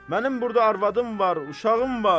Mənim burda arvadım var, uşağım var.